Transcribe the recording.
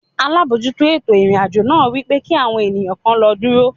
Alábòójútó ètò ìrìn-àjò náà wípé kí àwọn ènìyàn kan lọ dúró.